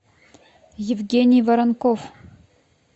евгений воронков